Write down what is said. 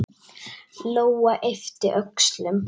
Lóa yppti öxlum.